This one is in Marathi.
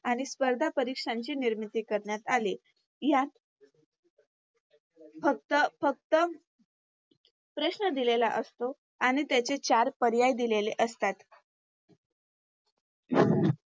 आणि स्पर्धा परीक्षांची निर्मिती करण्यात आली. यात फक्त फक्त प्रश्न दिलेला असतो आणि त्याचे चार पर्याय दिलेले असतात.